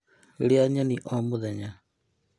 Rĩa nyeni o mũthenya